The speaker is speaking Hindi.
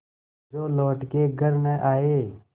जो लौट के घर न आये